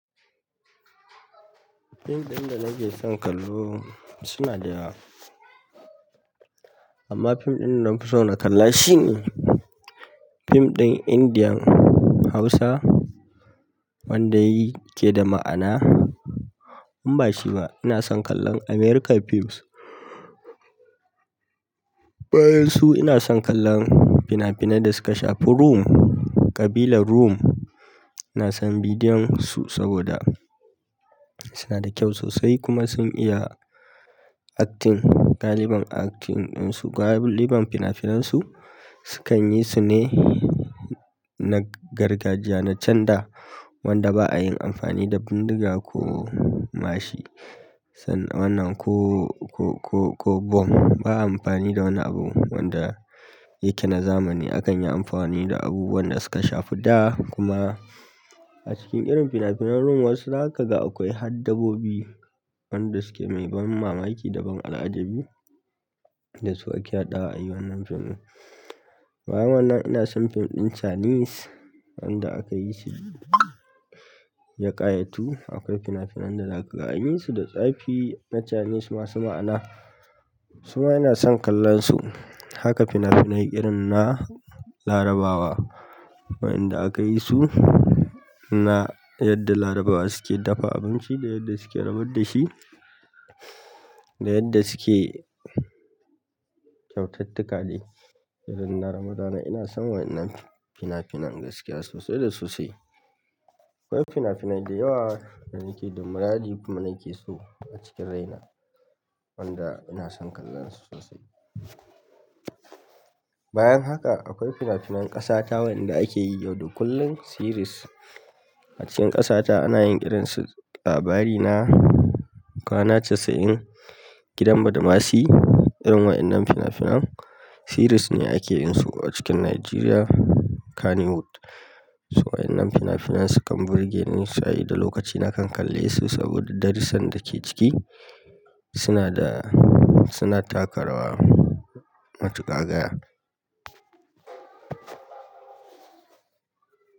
Fim ɗin da nake son kallo suna da yawa. Amma pim ɗin da nafi so na kalla shi ne pim ɗin indiyan hausa wanda yake da ma'ana. In ba shi ba ina son kallon american pims bayan su ina son kallon fina-finan da suka shafi Rum, ƙabilar Rum. Ina son bidiyon su saboda suna da kyau sosai kuma sun iya acting, galiban acting ɗinsu, galiban fina-finan su sukan yi su ne na gargajiya, na can da wanda ba ayin amfani da bindiga ko mashi. Sannan wannan ko, ko, ko, ko bomb. Ba a amfani da wani abu wanda yake na zamani. A kan yi amfani da abubuwan da suka shafi da. Kuma a cikin irin fina-finan Rum wasu za ka ga akwai haddabobi wanda suke mai ban mamaki da ban al'ajabi da su ake haɗa a yi wannan fim ɗin. Bayan wannan ina son fim ɗin Chinese wanda aka yi shi yakayatu. Akwai finafinan da za ka ga anyi su da tsafi na Chinese masu maana, su ma ina son kallon su. Haka finafinai irin na larabawa wayenda aka yi su na yadda Larabawa suke dafa abinci, da yadda suke rabar da shi, da yadda suke kyautattuƙa dai irin na Ramadana ina son wannan fina-finan gaskiya sosai da sosai. Akwai fina-finan da yawa da nake da muradi kuma nake so a cikin raina wanda ina son kallon su sosai. Bayan haka akwai fina-finan ƙasa ta wayanda ake yi yau da kullum, series. A cikin ƙasa ta ana yin irin su Labarina, Kwana Casa'in, Gidan Badamasi, irin waɗannan fina-finan series ne ake yin su a cikin Nigeria Kannywood. Toh waƴannan finafinan sukan burge ni sabida lokaci nakan kalle su sabida darussan da suke ciki, suna da suna takarawa matuƙa gaya.